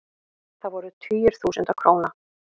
Það voru tugir þúsunda króna.